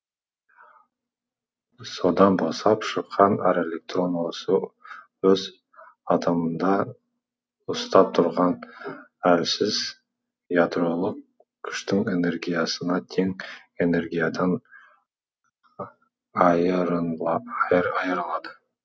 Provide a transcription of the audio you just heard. содан босап шыққан әр электрон осы өз атомында ұстап тұрған әлсіз ядролық күштің энергиясына тең энергиядан айырылады